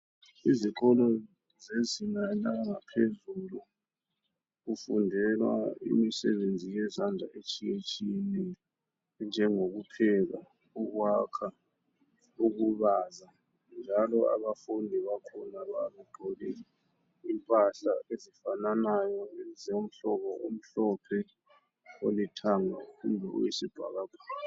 Izikolo zezinga langaphezulu, kufundelwa imisebenzi yezandla etshiyetshiyeneyo, enjengokupheka, ukwakha, ukubaza njalo abafundi bakhona babegqoke impahla ezifananayo zomhlobo omhlophe, olithanga kumbe oyisibhakabhaka.